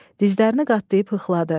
Dizlərini qatlayıb hıxladı.